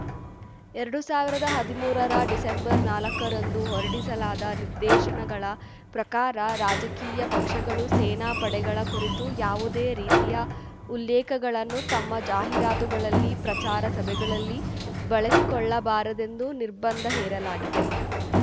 ಎರಡು ಸಾವಿರದ ಹದಿಮೂರರ ಡಿಸೆಂಬರ್ ನಾಲಕ್ಕ ರಂದು ಹೊರಡಿಸಲಾದ ನಿರ್ದೇಶನಗಳ ಪ್ರಕಾರ ರಾಜಕೀಯ ಪಕ್ಷಗಳು ಸೇನಾಪಡೆಗಳ ಕುರಿತು ಯಾವುದೇ ರೀತಿಯ ಉಲ್ಲೇಖಗಳನ್ನು ತಮ್ಮ ಜಾಹೀರಾತುಗಳಲ್ಲಿ ಪ್ರಚಾರ ಸಭೆಗಳಲ್ಲಿ ಬಳಸಿಕೊಳ್ಳಬಾರದೆಂದು ನಿರ್ಬಂಧ ಹೇರಲಾಗಿದೆ